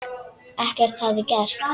Ekkert hefði gerst.